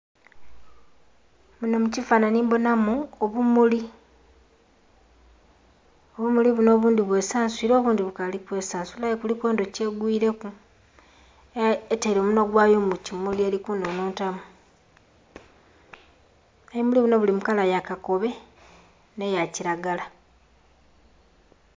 Munho mukifanhanhi kinho mbonhamu obumuli, obumuli bunho obundhi bwesansuire obundhi bukali kwesansula aye kuliku endhuki egwiireku aye etere omunhwa gwayo mukimuli erikunhunhutamu, ebimuli binho biri mulangi ya kakobe nh'eyakiragala.